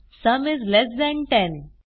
sum is less than 10